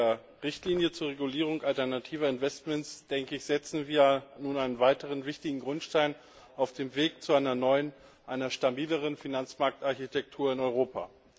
Mit der Richtlinie zur Regulierung alternativer Investmentfonds setzen wir nun einen weiteren wichtigen Grundstein auf dem Weg zu einer neuen, einer stabileren Finanzmarktarchitektur in Europa.